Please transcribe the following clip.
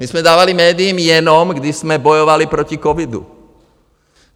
My jsme dávali médiím jenom, když jsme bojovali proti covidu.